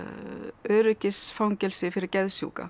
öryggisfangelsi fyrir geðsjúka